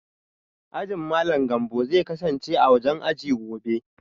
Ajin Malam Gambo zai kasance a wajen aji gobe